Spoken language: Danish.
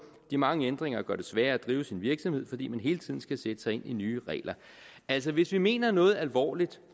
de mange ændringer gør det sværere at drive en virksomhed fordi man hele tiden skal sætte sig ind i nye regler altså hvis vi mener noget alvorligt